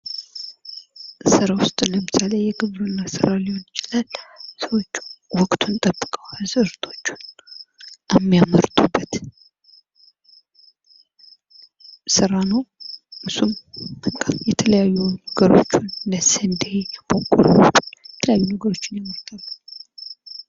ስራ ውስጥ ለምሳሌ የግብርና ስራ ሊሆን ይችላል ።ሰዎች ወቅቱን ጠብቀው አዝዕርቶቹን የሚያመርቱበት ስራ ነው። እሱም በቃ የተለያዩ ነገሮችን እንደስንዴ በቆሎ የተለያዩ ነገሮችን ያመርታሉ።